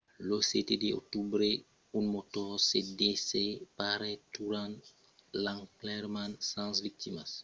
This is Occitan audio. lo 7 d'octobre un motor se desseparèt durant l'enlairament sens victimas. russia gardèt sul sòl brèvament sos ii-76s aprèp aquel accident